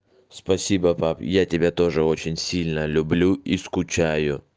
спасибо пап я тебя тоже очень сильно люблю и скучаю